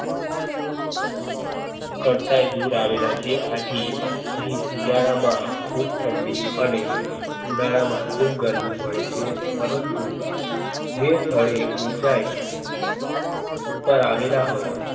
કરતાંય દૂર આવેલા છે. આથી અહીં શિયાળા માં ખુબ ઠંડી અને ઉનાળા માં ખુબ ગરમી પડે ચ્યે પરંતુ જે સ્થળે ઉંચાઈ ઉપર ઉપર આવેલા હોઈ